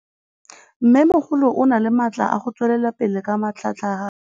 Mmêmogolo o na le matla a go tswelela pele ka matlhagatlhaga.